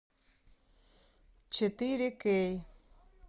четыре кей